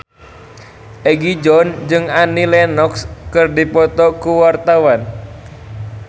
Egi John jeung Annie Lenox keur dipoto ku wartawan